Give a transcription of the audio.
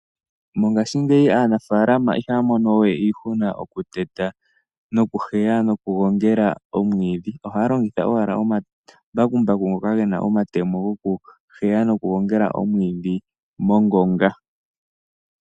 Mongashingeyi aanafalama ihaya mono we iihuna mokuteta, nokuheya nokugongela omwiidhi, ohaya longitha owala omambakumbaku ngoka ge na omatemo gokuheya nokugongela omwiidhi mongonga.